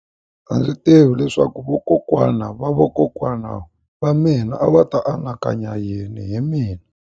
A ndzi tivi leswaku vakokwana-va-vakokwana va mina a va ta anakanya yini hi mina.